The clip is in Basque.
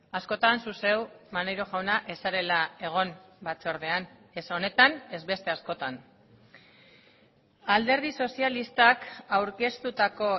askotan zu zeu maneiro jauna ez zarela egon batzordean ez honetan ez beste askotan alderdi sozialistak aurkeztutako